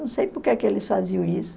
Não sei por que é que eles faziam isso.